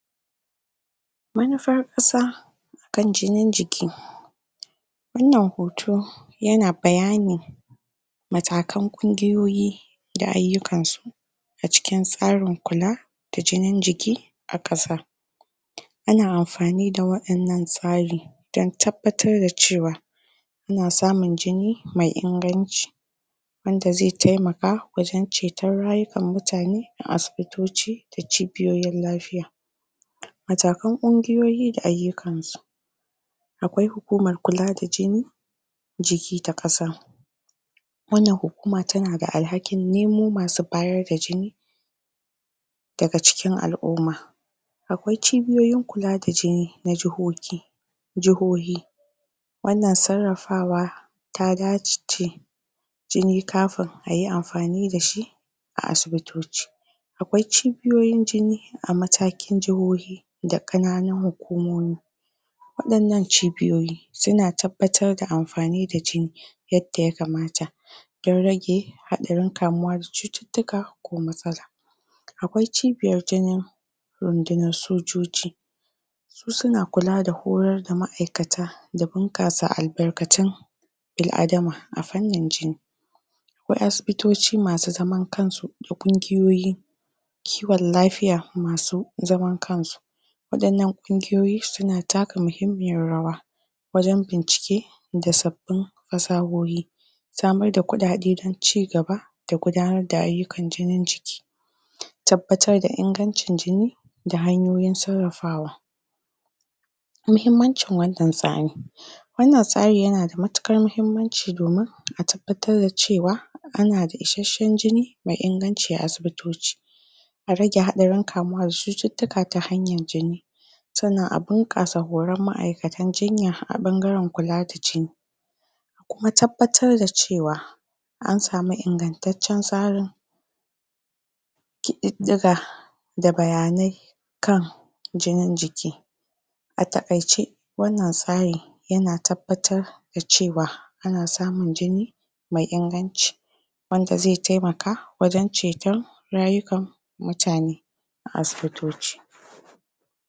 manufar ƙasa akan jinin jiki wannan hoto yana bayani matakan ƙongiyoyi da aiyukansu a cikin tsarin kula da jinin jiki a ƙasa ana amfani da waɗannan tsari dan tabbatar da cewa ana samun jini me inganci wanda zai taimaka wajan cetan rayukan mutane a asibitoci da cibiyoyin lafiya a da cibiyoyin lafiya matakan kunjiyoyi da aiyukansu akwai hukumar kula da jini jiki da ƙasa wannan hukuma tana da alhakin nemo masu bayar da jini daga cikin al'uma akwai cibiyoyin kula da jini na jahohi jahohi wannan sarrafawa ta dace da jini kafin ayi amfani dashi a asibitoci akwai cibiyoyin jini a matakin jahohi da kananun hukumomi waɗannan cibiyoyi suna tabbatar da amfani da jini yanda ya kamata dan rage haɗarin kamuwa da cututtuka ko matsala akwai cibiyar jinin rundunar sojoji su suna kula da horar da ma'aikata da bunkasa al'barkatun bil'adama a fannin jini wasu asibitoci masu zaman kansu da ƙongiyoyi ciwan lafiya masu zaman kansu waɗannan kungiyoyi suna taka muhimmiyar rawa wajan bincike da sabbin fasahohi samar da kuɗaɗe dan cigaba da gudanar da aiyukan jinin jiki tabbatar da ingancin jini da hanyoyin sarrafawa muhimmancin wannan tsanin wannan tsarin yana da matuƙar mahimmanci domin a tabbatar da cewa ana da ishasshan jini me inganci a asibitoci a rage haɗarin kamuwa da cututtuka ta hanyar jini sannan a bunƙasa horan ma'aikatan jinya a ɓangaran kula da jini a kuma tabbatar da cewa ansamu ingantatcan tsarin ƙididdiga da bayanai akan jini jiki a takaice wannan tsari yana tabbatar da cewa ana samun jini mai inganci wanda zai taimaka wanda zai taimaka wajan cetan rayukan mutane a asibitoci